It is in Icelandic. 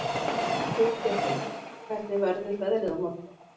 Húngerður, hvernig verður veðrið á morgun?